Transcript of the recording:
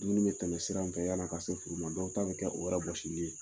Dumuni bɛ tɛmɛ sira min fɛ yani a ka se furu ma dɔw ta bɛ kɛ o yɛrɛ bɔsili ye.